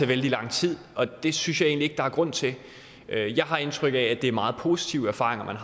vældig lang tid og det synes jeg egentlig der er grund til jeg har indtryk af at det er meget positive erfaringer man